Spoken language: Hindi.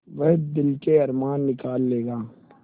वह दिल के अरमान निकाल लेगा